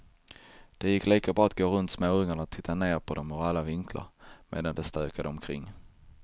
Det gick lika bra att gå runt småungarna och titta ner på dem ur alla vinklar, medan de stökade omkring.